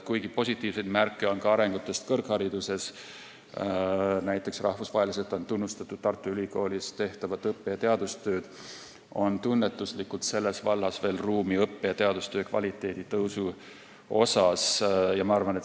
Kuigi positiivseid märke on ka kõrghariduse arengus, näiteks rahvusvaheliselt on tunnustatud Tartu Ülikoolis tehtavad õppe- ja teadustööd, on tunnetuslikult veel ruumi õppe- ja teadustöö kvaliteedi tõusuks.